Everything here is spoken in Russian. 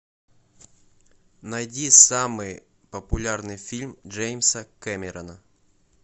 найди самый популярный фильм джеймса кэмерона